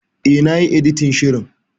E, na yi editin shirin.